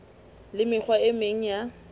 le mekgwa e meng ya